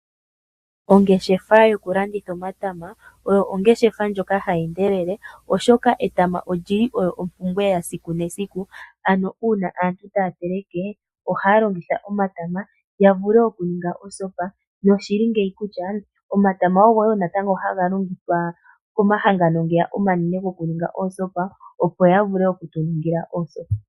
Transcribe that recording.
Ongeshefa yokulanditha omatama oyo ongeshefa ndjoka hayi endelele, oshoka etama oli li olyo ompumbwe yesiku nesiku, ano uuna aantu taya teleke ohaya longitha omatama ya vule okuninga osopa. Omatama ogo wo haga longithwa komahanagano omanene gokuninga oosopa, opo ga vule oku tu ningila oosopa.